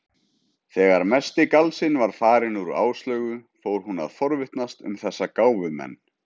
Þegar mesti galsinn var farinn úr Áslaugu fór hún að forvitnast um þessa gáfumenn.